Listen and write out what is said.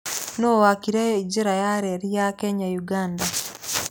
Nũũ waakire Njĩra ya reri ya Kenya-Uganda?